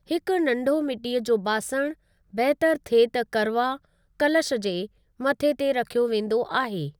हिकु नंढो मिट्टीअ जो बासणु, बहितर थिए त करवा, कलश जे मथे ते रखियो वेंदो आहे।